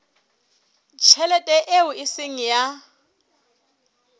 tjhelete eo e seng ya